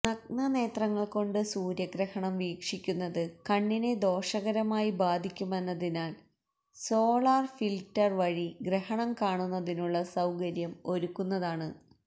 നഗ്നനേത്രങ്ങള് കൊണ്ട് സൂര്യഗ്രഹണം വീക്ഷിക്കുന്നത് കണ്ണിനെ ദോഷകരമായി ബാധിക്കുമെന്നതിനാല് സോളാര് ഫില്ട്ടര് വഴി ഗ്രഹണം കാണുന്നതിനുള്ള സൌകര്യം ഒരുക്കുന്നതാണ്